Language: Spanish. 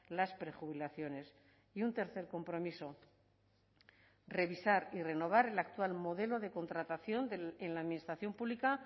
las prejubilaciones y un tercer compromiso revisar y renovar el actual modelo de contratación en la administración pública